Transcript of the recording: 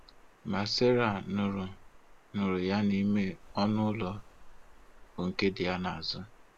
Ma Sera nụrụ nụrụ ya n'ime ọnụ ụlọ, bụ nke dị ya n'azụ.